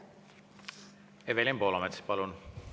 Evelin Poolamets, palun!